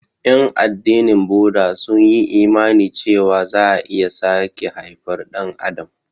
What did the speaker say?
Ƴan addinin Buda sun yi imani cewa za'a iya sake haifar Ɗan adam.